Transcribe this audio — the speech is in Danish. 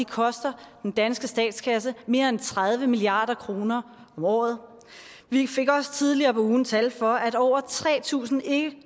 koster den danske statskasse mere end tredive milliard kroner om året og vi fik også tidligere på ugen tal for at over tre tusind en